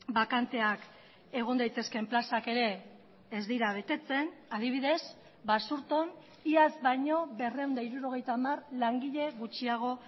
bakanteak egon daitezkeen plazak ere ez dira betetzen adibidez basurton iaz baino berrehun eta hirurogeita hamar langile gutxiago